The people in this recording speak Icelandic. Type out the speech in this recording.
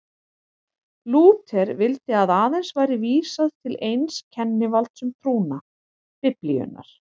Lúther vildi að aðeins væri vísað til eins kennivalds um trúna, Biblíunnar.